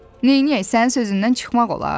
Nə eləyək, sənin sözündən çıxmaq olar?